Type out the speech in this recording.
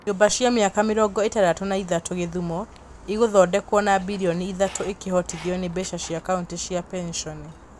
Nyũmba cia mĩaka mĩrongo ĩtandatũ na ithatũ Gĩthumo igũthondekwo na mbirioni ithatũ ikĩhotithio nĩ mbeca cia kaũnti cia penshoni.